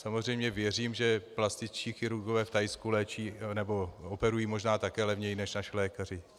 Samozřejmě věřím, že plastičtí chirurgové v Thajsku léčí, nebo operují možná také levněji než naši lékaři.